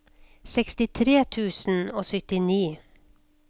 sekstitre tusen og syttini